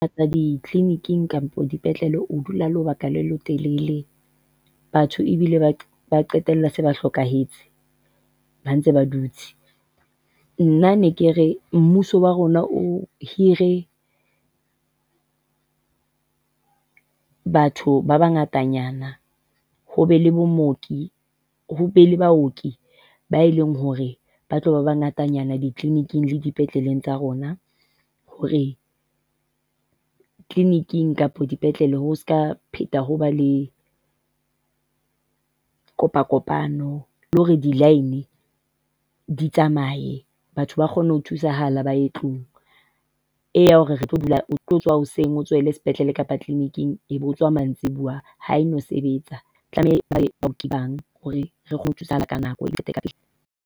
Di-clinic-eng kampo dipetlele o dula lebaka le letelele. Batho ebile ba qetella se ba hlokahetse ba ntse ba dutse. Nna ne ke re mmuso wa rona o hire batho ba bangatanyana, ho be le bo mooki, ho be le baoki ba e leng hore ba tloba ngatanyana di-clinic-ing le dipetleleng tsa rona hore clinic-eng kapa dipetlele ho seka pheta hoba le kopakopano le hore di-line di tsamaye. Batho ba kgone ho thusahala ba ye tlung. Ena ya hore re tlo dula o tlo tsoha hoseng o ya sepetlele kapa clinic-ng, e be o tswa mantsibua ha e no sebetsa. Tlamehile ba bang hore re thusa ka nako e ka pela